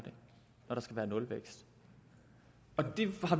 når der skal være nulvækst